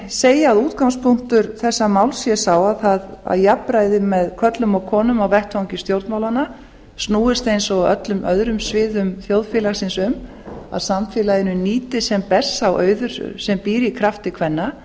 segja að útgangspunktur þessa máls sé sá að jafnræði með körlum og konum á vettvangi stjórnmálanna snúist eins og á öllum öðrum sviðum þjóðfélagisins um að samfélaginu nýtist sem best sá auður sem býr í krafti kvenna